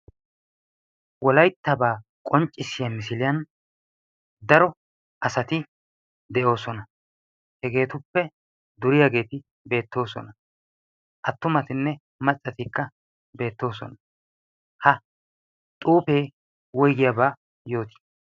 Wolayttaaba qonccissiyaa misiliyaan daro asati deoosona. Hegetuppe duriyaagetti beettoosona. Attumattine maccattikka beettoosona. Ha xuufee woygiyaaba yooti?